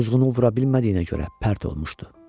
Quzğunu vura bilmədiyinə görə pərt olmuşdu.